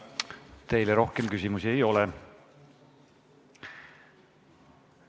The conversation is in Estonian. Teile rohkem küsimusi ei ole.